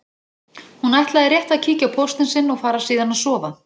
Hún ætlaði rétt að kíkja á póstinn sinn og fara síðan að sofa.